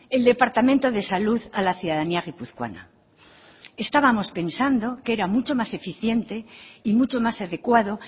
el departamento de salud a la ciudadanía guipuzcoana estábamos pensando que era mucho más eficiente y mucho más adecuado